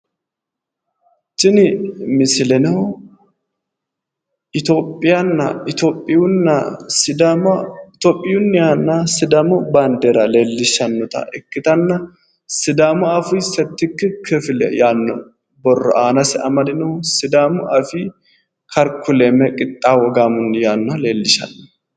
Tinni misilleno itophiunnihanna sidaamu baandeera leelishanota ikkittanna sidaamu afii settikki kifile yano borro aannase amadino sidaamu afii karkulame qixxaawo gaamonni yaanoha leelishano